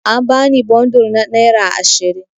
An bani bundur na naira ashirin.